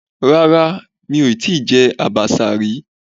Rárá, mi ò tíì jẹ àbàṣà rí.